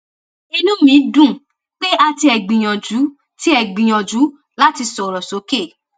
inú mi dùn pé a tiẹ gbìyànjú tiẹ gbìyànjú láti sọrọ sókè